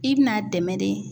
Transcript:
I bi n'a dɛmɛ de.